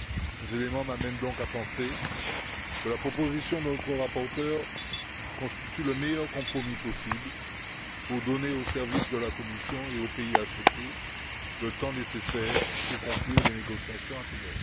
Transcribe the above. Ces éléments m'amènent donc à penser que la proposition de notre rapporteur constitue le meilleur compromis possible pour donner aux services de la Commission et aux pays ACP le temps nécessaire pour conclure les négociations APE.